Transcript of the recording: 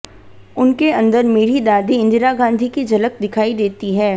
उनके अंदर मेरी दादी इंदिरा गांधी की झलक दिखाई देती है